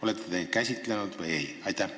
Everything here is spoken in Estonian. Olete te neid teemasid käsitlenud või ei?